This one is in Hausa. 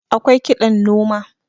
awkai kiɗan noma